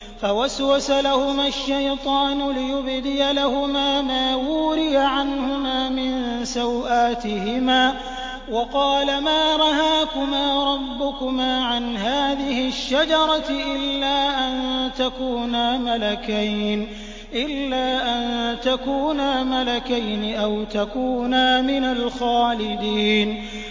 فَوَسْوَسَ لَهُمَا الشَّيْطَانُ لِيُبْدِيَ لَهُمَا مَا وُورِيَ عَنْهُمَا مِن سَوْآتِهِمَا وَقَالَ مَا نَهَاكُمَا رَبُّكُمَا عَنْ هَٰذِهِ الشَّجَرَةِ إِلَّا أَن تَكُونَا مَلَكَيْنِ أَوْ تَكُونَا مِنَ الْخَالِدِينَ